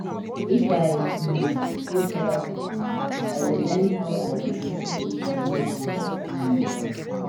if i um go therapy i go learn how i go dey cope wit my emotions um